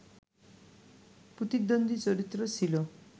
প্রতিদ্বন্দী চরিত্র ছিল